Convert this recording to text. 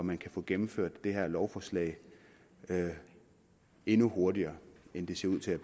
man kan få gennemført et lovforslag endnu hurtigere end det ser ud til